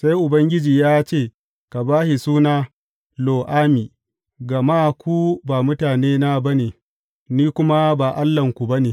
Sai Ubangiji ya ce, Ka ba shi suna Lo Ammi, gama ku ba mutanena ba ne, ni kuma ba Allahnku ba ne.